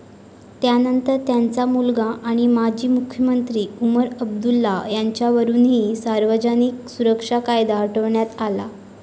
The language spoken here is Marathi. त्यानंतर त्यांचा मुलगा आणि माजी मुख्यमंत्री उमर अब्दुल्ला यांच्यावरूनही सार्वजनिक सुरक्षा कायदा हटवण्यात आला.